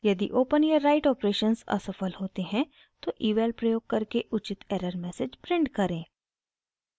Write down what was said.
यदि open या write operations असफल होते हैं तो eval प्रयोग करके उचित एरर मैसेज प्रिंट करें